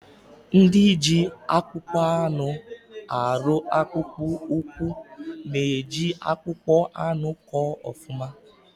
Ndị ji akpụkpọ anụ arụ akpụkpụ ụkwụ na eji akpụkpọ anụ kọ ọfụma